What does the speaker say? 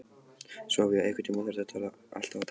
Sofía, einhvern tímann þarf allt að taka enda.